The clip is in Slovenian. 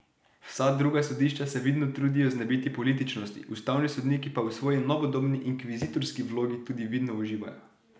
Vsa druga sodišča se vidno trudijo znebiti političnosti, ustavni sodniki pa v svoji novodobni inkvizitorski vlogi tudi vidno uživajo.